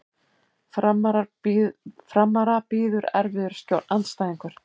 Framara bíður erfiður andstæðingur